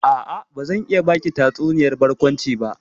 A'a, bazan iya baki tatsuniyar barkwanci ba.